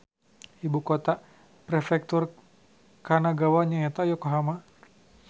Ibu kota Prefektur Kanagawa nyaeta Yokohama